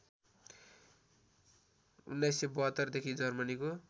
१९७२ देखि जर्मनीको